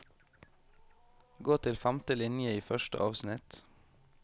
Gå til femte linje i første avsnitt